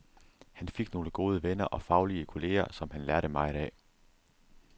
Han fik nogle gode venner og faglige kolleger, som han lærte meget af.